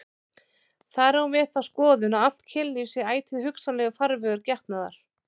Þar á hún við þá skoðun að allt kynlíf sé ætíð hugsanlegur farvegur getnaðar.